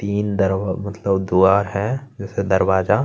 तीन दरवा मतलब द्वार है जिसे दरवाजा --